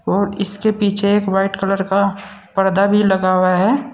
और इसके पीछे एक वाइट कलर का पर्दा भी लगा हुआ है।